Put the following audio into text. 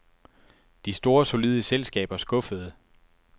De store solide selskaber skuffede.